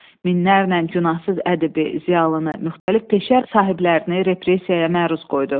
Minlərlə günahsız ədibi, ziyalını, müxtəlif peşə sahiblərini repressiyaya məruz qoydu.